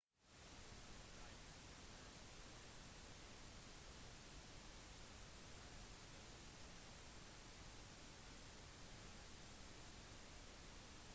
ha i tankene mens du legger planer om at selv om sør-afrika er stabilt er ikke det tilfellet for alle nabolandene